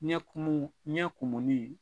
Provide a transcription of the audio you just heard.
Ɲɛ kumu ɲɛ kumuni